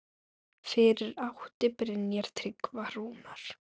Fyrir átti Brynjar Tryggva Rúnar.